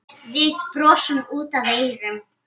Við brosum út að eyrum.